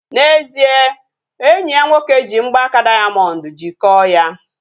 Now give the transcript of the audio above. N'ezie, enyi ya nwoke ji mgbaaka dayamondu jikọọ ya